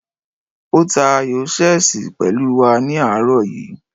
Ó ta ayò ṣẹ́ẹ̀sì pẹ̀lú wa ní àárọ̀ yìí